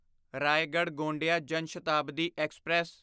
Raigarh Gondia Jan Shatabdi express